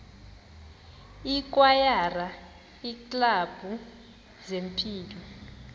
ikwayara iiklabhu zempilo